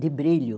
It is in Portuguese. de brilho.